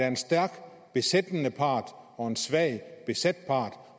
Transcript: en stærk besættende part og en svag besat part